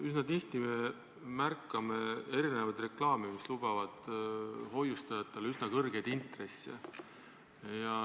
Üsna tihti me märkame reklaame, mis lubavad hoiustajatele üsna kõrgeid intresse.